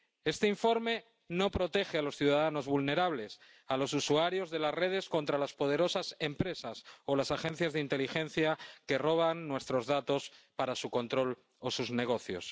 Este informe no protege a los ciudadanos vulnerables, a los usuarios de las redes, contra las poderosas empresas o las agencias de inteligencia que roban nuestros datos para su control o sus negocios.